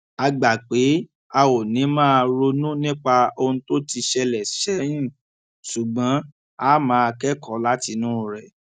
a gbà pé a ò ní máa ronú nípa ohun tó ti ṣẹlè sẹyìn ṣùgbón a máa kékòó látinú rè